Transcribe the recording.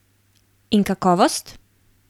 In kakovost?